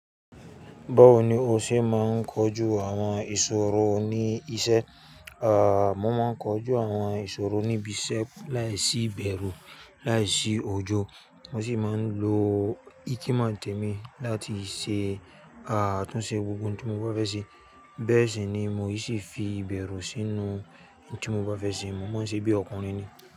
Báwo ni o ṣe máa ń kojú àwọn ìṣòro ní iṣẹ́? À, mo máa ń kojú àwọn ìṣòro níbi iṣẹ́ láìsí bẹ̀rù, láìsí òjò. Mo sì máa ń lo ikimoo ń tẹ́mi láti ṣe, à tún ṣe gbogbo oun tí mo bá fẹ́ ṣe. Bẹ́ẹ̀ sì ni mo sì fi bẹ̀rù sínú oun tí mo bá fẹ́ ṣe. Mo mọ̀ ọ́n ṣe bí ọkùnrin ni.